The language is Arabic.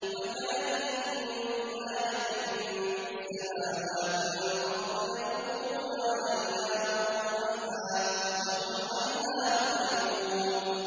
وَكَأَيِّن مِّنْ آيَةٍ فِي السَّمَاوَاتِ وَالْأَرْضِ يَمُرُّونَ عَلَيْهَا وَهُمْ عَنْهَا مُعْرِضُونَ